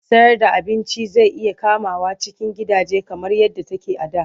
Sayarda abinci zai iya komawa cikin gidaje kamar yadda take a da.